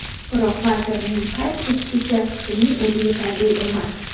Biroq, vazirning qayd etishicha, shuning o‘zi yetarli emas.